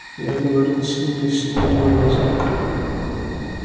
я говорил с ними всего два раза